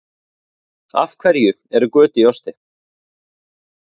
Af hverju eru göt í osti?